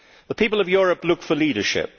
The people of Europe look for leadership.